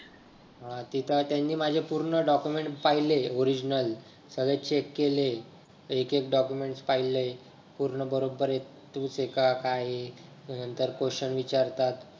हा तिथं त्यांनी माझं पूर्ण document पहिले original सगळे check केले एक एक documents पहिले पूर्ण बरोबर हेत काय हे. त्याच्या नंतर question विचारतात.